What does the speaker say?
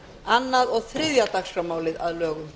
og þriðja dagskrármálið að lögum